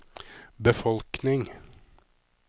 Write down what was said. befolkning